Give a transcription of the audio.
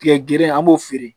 Tigɛ gere an b'o feere